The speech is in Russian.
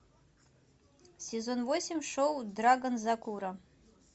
сезон восемь шоу драгонзакура